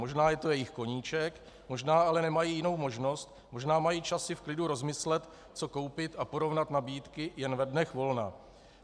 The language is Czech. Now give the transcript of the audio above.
Možná je to jejich koníček, možná ale nemají jinou možnost, možná mají čas si v klidu rozmyslet co koupit a porovnat nabídky jen ve dnech volna.